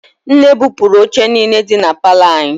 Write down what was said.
Nne bupụrụ oche niile dị na palọ anyị.